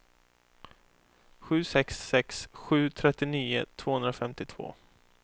sju sex sex sju trettionio tvåhundrafemtiotvå